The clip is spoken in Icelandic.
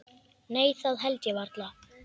Nei það held ég varla.